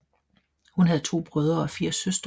Hun havde to brødre og fire søstre